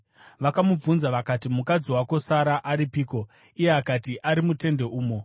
Vakamubvunza vakati, “Mukadzi wako Sara aripiko?” Iye akati, “Ari mutende umo.”